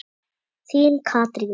Þín, Katrín.